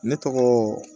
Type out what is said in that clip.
Ne tɔgɔ